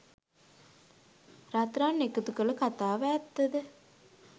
රත්රන් එකතු කළ කතාව ඇත්ත ද?